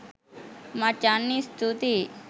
මචන් ස්තුතියි